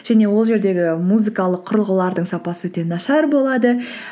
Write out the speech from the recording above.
және ол жердегі музыкалық құрылғылардың сапасы өте нашар болады